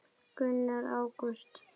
Gunnar: Ágúst?